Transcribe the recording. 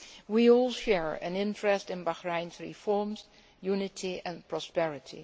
We all share an interest in Bahrain's reforms, unity and prosperity.